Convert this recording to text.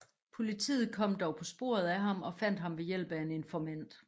Politiet kom dog på sporet af ham og fandt ham ved hjælp af en informant